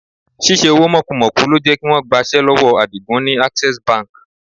Ṣíṣe owó mọ́kumọ̀ku ló jẹ́ kí wọ́n gbaṣẹ́ lọ́wọ́ Àdìgún ni Access Bank.